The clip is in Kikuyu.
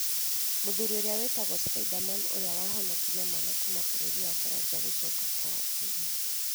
Mũthuri ũria witagwo ‘Spiderman' ũrĩa wahonokirie mwana kuuma bũrũri wa Baranja, gũcoka kwao Kenya.